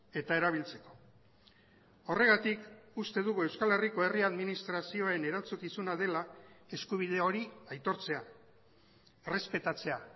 eta erabiltzeko horregatik uste dugu euskal herriko herri administrazioen erantzukizuna dela eskubide hori aitortzea errespetatzea